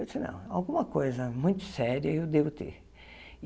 Eu disse, não, alguma coisa muito séria eu devo ter.